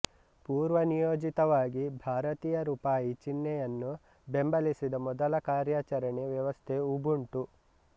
ಪೂರ್ವನಿಯೋಜಿತವಾಗಿ ಭಾರತೀಯ ರೂಪಾಯಿ ಚಿಹ್ನೆಯನ್ನು ಬೆಂಬಲಿಸಿದ ಮೊದಲ ಕಾರ್ಯಾಚರಣಾ ವ್ಯವಸ್ಥೆ ಉಬುಂಟು